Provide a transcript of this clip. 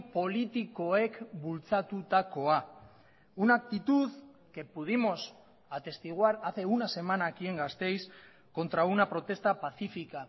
politikoek bultzatutakoa una actitud que pudimos atestiguar hace una semana aquí en gasteiz contra una protesta pacífica